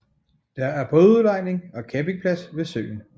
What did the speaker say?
Der er bådudlejning og campingplads ved søen